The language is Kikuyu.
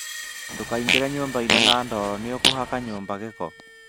ndũkaĩngĩre nyũmbaĩinĩ na ndoro, nĩũkũhaka nyũmba gĩko